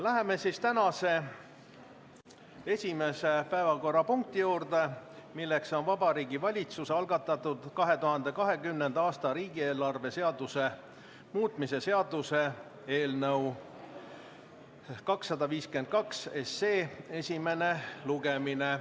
Läheme tänase esimese päevakorrapunkti juurde, milleks on Vabariigi Valitsuse algatatud 2020. aasta riigieelarve seaduse muutmise seaduse eelnõu 252 esimene lugemine.